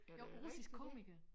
Jo russiske komikere